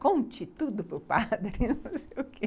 Conte tudo para o padre